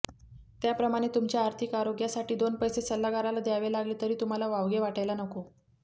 त्याप्रमाणे तुमच्या आर्थिक आरोग्यासाठी दोन पैसे सल्लागाराला द्यावे लागले तरी तुम्हाला वावगे वाटायला नको